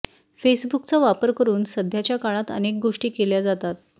फेसबूकचा वापर करून सध्याच्या काळात अनेक गोष्टी केल्या जातात